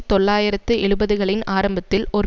தொள்ளாயிரத்து எழுபதுகளின் ஆரம்பத்தில் ஒரு